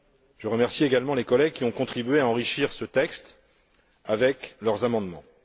Je remercie également les collègues qui ont contribué à enrichir ce texte avec leurs amendements.